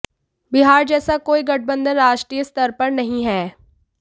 बिहार जैसा कोई गठबंधन राष्ट्रीय स्तर पर नहीं है